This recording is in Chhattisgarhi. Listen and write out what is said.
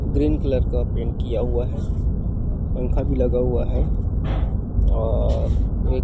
ग्रीन कलर का पेंट किया हुआ है पंखा भी लगा हुआ है और एक --